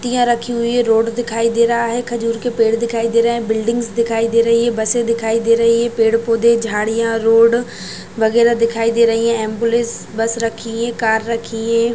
पत्तिया रखी हुई है रोड दिखाई दे रहा है खजूर के पेड़ दिखाई दे रहे है बिल्डिंग्स दिखाई दे रही है बसे दिखाई दे रही है पेड़ पौधे झाड़ीया रोड वगैरा दिखाई दे रही है एम्बुलेंस बस रखी है कार रखी है।